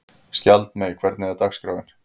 Skjaldmey, hvernig er dagskráin?